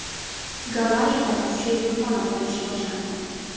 Gavayida kuchli vulqon otilishi boshlandi.